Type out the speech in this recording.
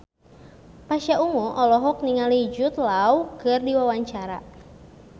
Pasha Ungu olohok ningali Jude Law keur diwawancara